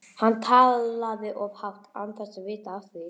Hann talaði of hátt, án þess að vita af því.